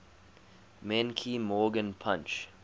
menke morgan punch